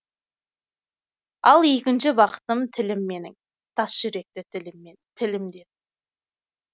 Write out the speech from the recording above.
ал екінші бақытым тілім менің тас жүректі тіліммен тілімдедім